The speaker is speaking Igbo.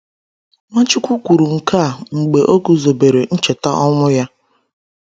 Nwachukwu kwuru nke a mgbe o guzobere Ncheta ọnwụ ya.